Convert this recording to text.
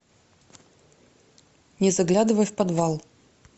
не заглядывай в подвал